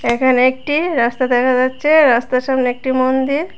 এখানে একটি রাস্তা দেখা যাচ্ছে রাস্তার সামনে একটি মন্দির।